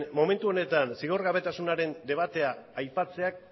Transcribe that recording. momentu honetan zigorgabetasunaren debatea aipatzeak